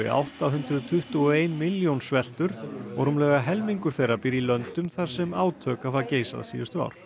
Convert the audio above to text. átta hundruð tuttugu og ein milljón sveltur og rúmlega helmingur þeirra býr í löndum þar sem átök hafa geisað síðustu ár